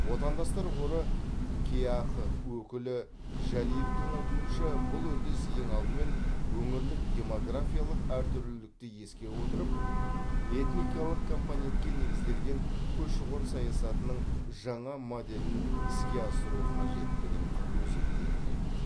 отандастар қоры кеақ өкілі жәлиевтің айтуынша бұл үрдіс ең алдымен өңірлік демографиялық әртүрлілікті ескере отырып этникалық компонентке негізделген көші қон саясатының жаңа моделін іске асыру қажеттігін өзектендіреді